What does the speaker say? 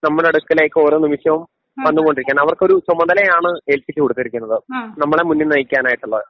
നമ്മുടെ അടുക്കലേക്ക് ഓരോ നിമിഷവും വന്നുകൊണ്ടിരിക്കുകയാണ് അവർക്കൊരു ചുമതലയാണ് ഏൽപ്പിച്ചു കൊടുത്തിരിക്കുന്നത് നമ്മളെ മുന്നിൽ നയിക്കാനായിട്ടുള്ളത്.